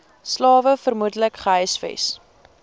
slawe vermoedelik gehuisves